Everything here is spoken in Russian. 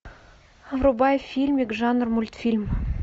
врубай фильмик жанра мультфильм